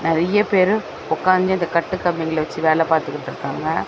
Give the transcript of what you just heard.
நெறைய பேரு உக்காஞ்சு இந்த கட்டு கம்பிங்கல வெச்சு வேல பாத்துகுட்ருக்காங்க.